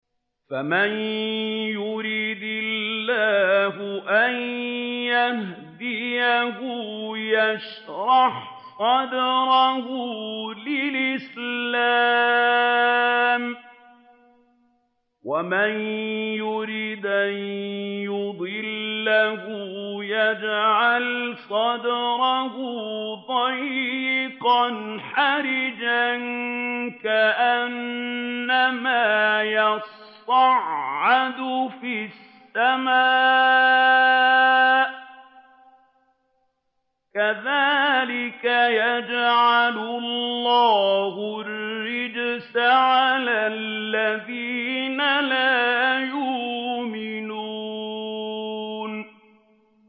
فَمَن يُرِدِ اللَّهُ أَن يَهْدِيَهُ يَشْرَحْ صَدْرَهُ لِلْإِسْلَامِ ۖ وَمَن يُرِدْ أَن يُضِلَّهُ يَجْعَلْ صَدْرَهُ ضَيِّقًا حَرَجًا كَأَنَّمَا يَصَّعَّدُ فِي السَّمَاءِ ۚ كَذَٰلِكَ يَجْعَلُ اللَّهُ الرِّجْسَ عَلَى الَّذِينَ لَا يُؤْمِنُونَ